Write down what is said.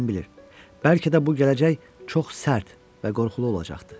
Kim bilir, bəlkə də bu gələcək çox sərt və qorxulu olacaqdı.